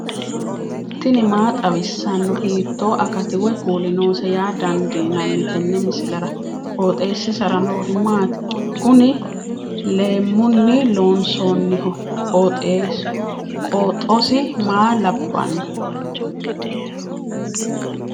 tini maa xawissanno ? hiitto akati woy kuuli noose yaa dandiinanni tenne misilera? qooxeessisera noori maati? kuni leemmunni loonsoonniho qooxosi maa labbanno